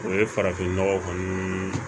O ye farafin nɔgɔ kɔni ye